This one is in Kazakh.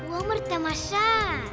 өмір тамаша